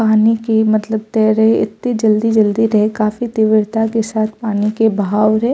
पानी के मतलब तेयरे एते जल्दी जल्दी रहे काफी तीव्रता के साथ पानी के बहाव रेहे।